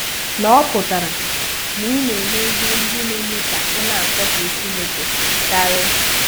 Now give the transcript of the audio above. :\nỌ̀ pụtara ị̀ na-eme ihe ndị na-eme ka ị̀ na-asọ̀pụrụ Chínèké karị́.